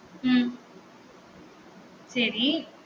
உம் சரி